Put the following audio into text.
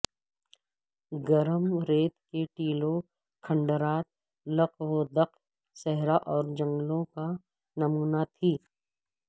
گرم ریت کے ٹیلوں کھنڈرات لق و دق صحرا اور جنگلو ں کا نمونہ تھی